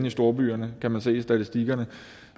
i storbyerne kan man se i statistikkerne